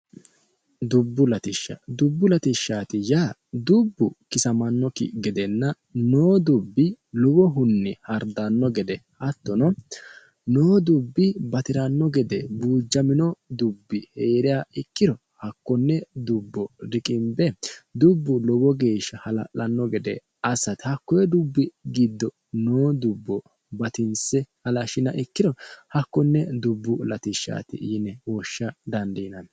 Dubbu latishsha, dubbu latishshati yaa dubbu kisamanokkinna lowo dubbi hardano gede hattono lowo dubbi batirano gede buujamino dubbi heeriha ikkiro hakkone dubbo riqinbe dubbu lowo geeshsha hala'lano gede assate hakku dubbi giddo noo dubbo gatinse halashinanniha ikkiro dubbu latishshati yine woshsha dandiinanni.